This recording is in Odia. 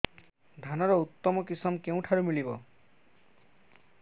ଧାନର ଉତ୍ତମ କିଶମ କେଉଁଠାରୁ ମିଳିବ